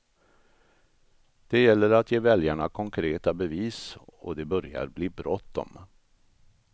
Det gäller att ge väljarna konkreta bevis och det börjar bli bråttom.